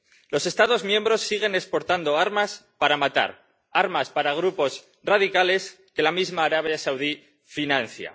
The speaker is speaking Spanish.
Los Estados miembros siguen exportando armas para matar, armas para grupos radicales que la misma Arabia Saudí financia.